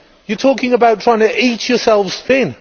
You are talking about trying to eat yourselves thin.